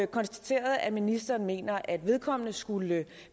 konstateret at ministeren mener at vedkommende skulle